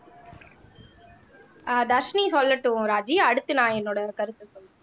ஆஹ் தர்ஷினி சொல்லட்டும் ராஜி அடுத்து நான் என்னோட கருத்தை சொல்றேன்